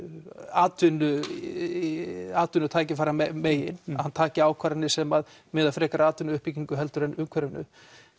atvinnutækifæramegin hann taki ákvarðanir sem miða frekar að atvinnuuppbyggingu heldur en umhverfinu